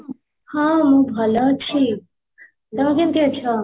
ହଁ, ମୁଁ ଭଲ ଅଛି, ତମେ କେମିତି ଅଛ?